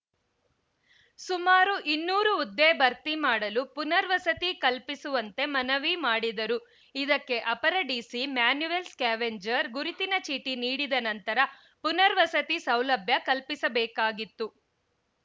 ಸುಮಾರು ಇನ್ನೂರು ಹುದ್ದೆ ಭರ್ತಿ ಮಾಡಲು ಪುನರ್ವಸತಿ ಕಲ್ಪಿಸುವಂತೆ ಮನವಿ ಮಾಡಿದರು ಇದಕ್ಕೆ ಅಪರ ಡಿಸಿ ಮ್ಯಾನುವೆಲ್‌ ಸ್ಕ್ಯಾವೆಂಜರ್‌ ಗುರುತಿನ ಚೀಟಿ ನೀಡಿದ ನಂತರ ಪುನರ್ವಸತಿ ಸೌಲಭ್ಯ ಕಲ್ಪಿಸಬೇಕಾಗಿತ್ತು